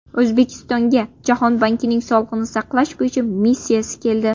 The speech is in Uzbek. O‘zbekistonga Jahon bankining sog‘liqni saqlash bo‘yicha missiyasi keldi.